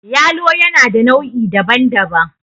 yalo yana da nau' I daban-daban